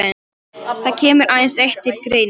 Það kemur aðeins eitt til greina.